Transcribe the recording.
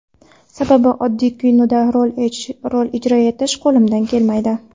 Sababi oddiy kinoda rol ijro etish qo‘limdan kelmaydi.